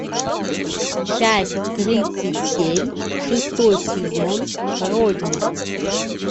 часть тридцать семь шестой сезон родина